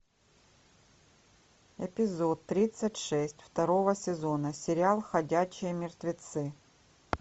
эпизод тридцать шесть второго сезона сериал ходячие мертвецы